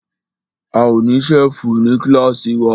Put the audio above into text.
A ó ní ṣẹ́fù ní kílàsì wa.